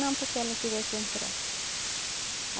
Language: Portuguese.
Não porque ela queria que entrasse.